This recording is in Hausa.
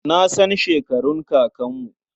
Na san shekarun kakanmu.